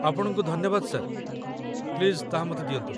ଆପଣଙ୍କୁ ଧନ୍ୟବାଦ, sir, please ତାହା ମୋତେ ଦିଅନ୍ତୁ